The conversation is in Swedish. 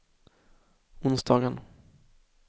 onsdagen